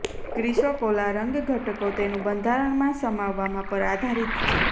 chrysocolla રંગ ઘટકો તેનું બંધારણ માં સમાવવામાં પર આધારિત છે